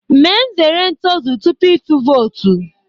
Mee nzere ntozu tupu ịtụ vootu